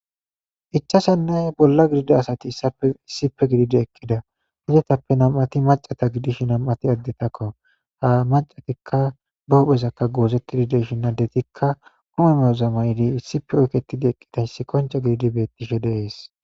ichashanne bolla gidida asati issappe issipe gididi eqqida didetappe nam7ati macata gidish nam7ati addetakko ha macatikka ba hophezakka goosettidi deshi nadetikka kumemeyozama yidi issipe oyketidi eqqidayssi qoncha gididi bettishe dees